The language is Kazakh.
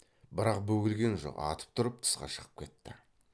бірақ бөгелген жоқ атып тұрып тысқа шығып кетті